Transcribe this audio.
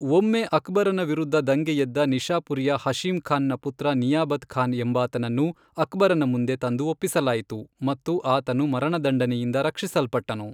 ಒಮ್ಮೆ ಅಕ್ಬರನ ವಿರುದ್ಧ ದಂಗೆ ಎದ್ದ ನಿಷಾಪುರಿಯ ಹಶೀಂ ಖಾನ್ ನ ಪುತ್ರ ನಿಯಾಬತ್ ಖಾನ್ ಎಂಬಾತನನ್ನು ಅಕ್ಬರನ ಮುಂದೆ ತಂದು ಒಪ್ಪಿಸಲಾಯಿತು ಮತ್ತು ಆತನು ಮರಣದಂಡನೆಯಿಂದ ರಕ್ಷಿಸಲ್ಪಟ್ಟನು.